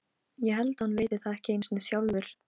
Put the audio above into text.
Rikharð, hvað er á áætluninni minni í dag?